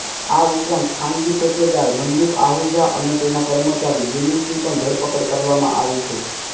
આ ઉપરાંત ખાનગી ઠેકેદાર મંદીપ આહૂજા અને તેના કર્મચારી યુનૂસની પણ ધરપકડ કરવામાં આવી છે